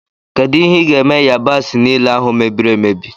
Kedụ ihe i ga-eme yabasi niile ahụ mebiri emebi?